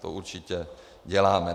To určitě děláme.